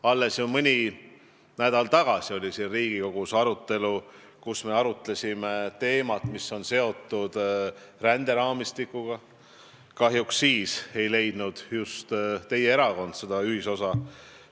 Alles mõni nädal tagasi oli siin Riigikogus arutelu, kus me arutasime ränderaamistikuga seotud teemat, ja kahjuks siis ei leidnud just teie erakond seda ühisosa.